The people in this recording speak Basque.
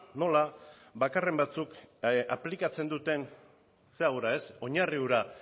nola bakarren batzuk aplikatzen duten zera hura oinarri hura